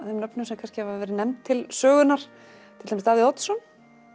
þeim nöfnum sem hafa verið nefnd til sögunnar til dæmis Davíð Oddsson